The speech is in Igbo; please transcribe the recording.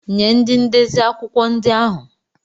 Nye ndị ndezi akwụkwọ ndị ahụ!